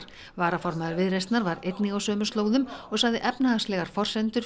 varaformaður Viðreisnar var einnig á sömu slóðum og sagði efnahagslegar forsendur